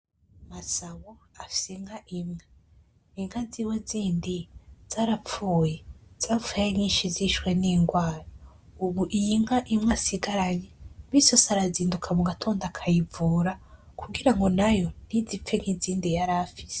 Masaho afise inka imwe inka ziwe z’indi zarapfuye zapfuye ari nyishi zishwe n’ingwara ubu iy’inka imwe asigaranye misi yose arazinduka mu gitondo akayivura kugirango nayo ntizipfe nk’izindi yarafise.